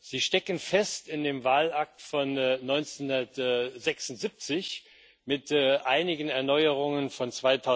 Sie stecken fest in dem Wahlakt von 1976 mit einigen Erneuerungen von